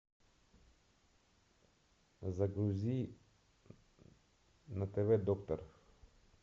загрузи на тв доктор